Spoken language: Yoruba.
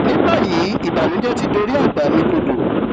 ní báyìí ìbànújẹ ti dorí àgbà mi kodò